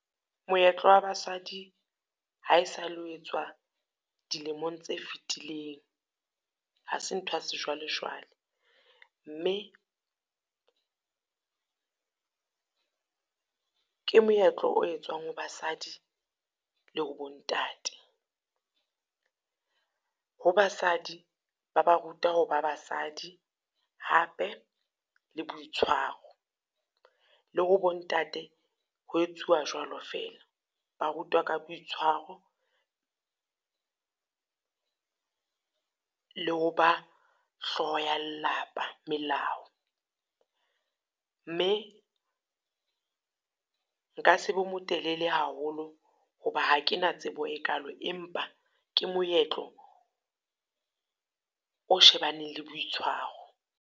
Moetlo wa basadi ha e sa le o etswa dilemong tse fetileng. Ha se nthwa sejwalejwale, mme ke moetlo o etswang ho basadi le ho bo ntate. Ho basadi, ba ba ruta ho ba basadi hape le boitshwaro. Le ho bo ntate, ho etsuwa jwalo fela, ba rutwa ka boitshwaro, le ho ba hloho ya lapa melao. Mme nka se be motelele haholo ho ba ha ke na tsebo e kalo empa ke moetlo, o shebaneng le boitshwaro.